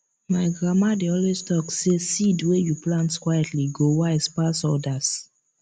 my grandma dey always talk say seed wey you plant quietly go wise pass others